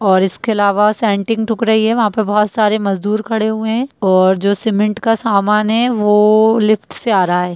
और इसके अलावा सेंटिंग ठुक रही है वहां पर बहुत सारे मजदुर खड़े हुए है और जो सीमेंट का सामान है वो लिफ्ट से आ रहा है।